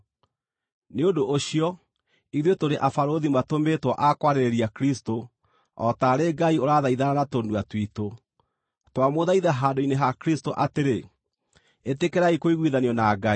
Nĩ ũndũ ũcio ithuĩ tũrĩ abarũthi matũmĩtwo a kwarĩrĩria Kristũ, o taarĩ Ngai ũrathaithana na tũnua twitũ. Twamũthaitha handũ-inĩ ha Kristũ atĩrĩ: Ĩtĩkĩrai kũiguithanio na Ngai.